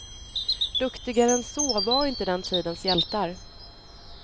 Duktigare än så var inte den tidens hjältar.